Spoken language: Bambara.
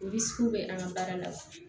bɛ an ka baara la